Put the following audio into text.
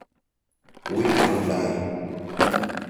Wi ulda ake.